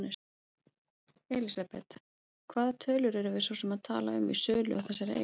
Elísabet: Hvaða tölur erum við svo sem að tala um í sölu á þessari eign?